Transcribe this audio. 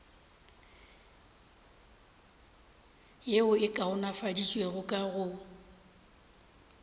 yeo e kaonafaditšwego ka go